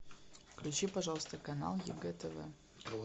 включи пожалуйста канал егэ тв